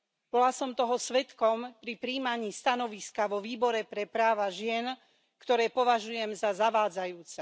Bola som toho svedkom pri prijímaní stanoviska vo Výbore pre práva žien, ktoré považujem za zavádzajúce.